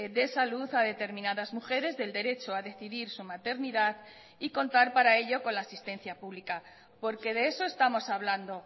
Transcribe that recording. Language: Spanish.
de salud a determinadas mujeres del derecho a decidir su maternidad y contar para ello con la asistencia pública porque de eso estamos hablando